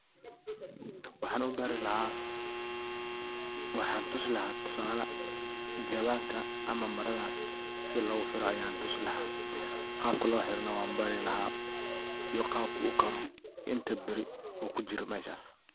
Waxaan u bari laha waxaan tusi laha tusala ama maradas sida loogu xiraya ayan tusi laha qabka loo xirana waan bari laha iyo qabka u karo iyo inta bari u kujiro meshas.